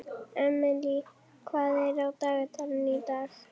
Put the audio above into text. Emely, hvað er á dagatalinu í dag?